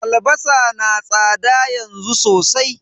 Albasa na tsada yanzu sosai.